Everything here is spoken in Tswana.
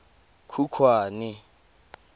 khukhwane